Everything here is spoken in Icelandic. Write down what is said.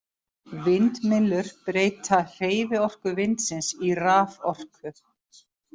Vindmyllur breyta hreyfiorku vindsins í raforku.